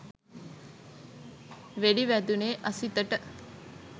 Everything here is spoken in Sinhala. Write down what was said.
වෙඩි වැදුනේ අසිතට